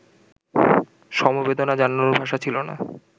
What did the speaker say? সমবেদনা জানানোর ভাষা ছিল না